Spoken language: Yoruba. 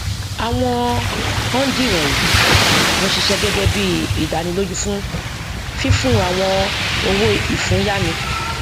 àwọn hundí wọnyí ń ṣiṣẹ gẹgẹ bí ìdánilójú fún fífún àwọn owóìfúnyáni